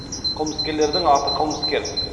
қылмыскерлердің аты қылмыскер